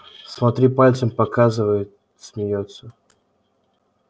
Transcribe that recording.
смотрит пальцем показывает смеётся